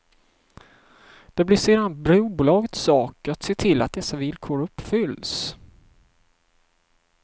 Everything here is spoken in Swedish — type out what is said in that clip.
Det blir sedan brobolagets sak att se till att dessa villkor uppfylls.